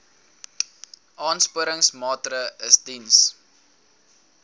aansporingsmaatre ls diens